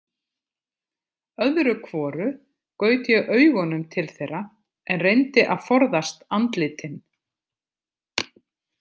Öðru hvoru gaut ég augunum til þeirra en reyndi að forðast andlitin.